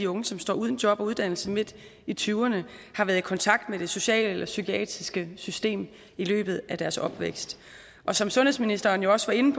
unge som står uden job og uddannelse midt i tyverne har været i kontakt med det sociale eller psykiatriske system i løbet af deres opvækst og som sundhedsministeren også var inde